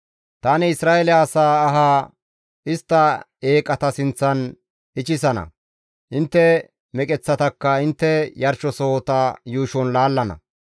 Tani Isra7eele asa aha istta eeqata sinththan ichchisana; intte meqeththatakka intte yarshizasohota yuushon laallana.